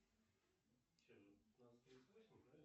развлеки меня занимательной историей